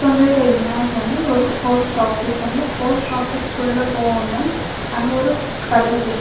வந்துருக்க இமேஜ் வந்து ஒரு போஸ்ட் ஆஃபிஸ் வந்து போஸ்ட் ஆஃபீஸ்குள்ள போகணும் அங்க ஒரு கதவு இருக்கு.